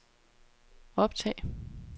optag